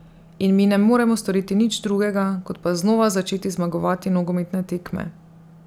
In mi ne moremo storiti nič drugega, kot pa znova začeti zmagovati nogometne tekme.